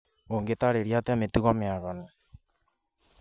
Ũngĩtarĩria atĩa mĩtugo mĩaganu?